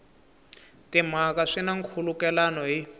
timhaka swi na nkhulukelano hi